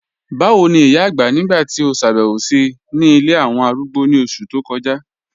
Bàwo ni ìyà àgbá nígbà tí o ṣábẹ̀wò sí ńí ilẹ̀ awọn arúgbó ni oṣù tó kọja?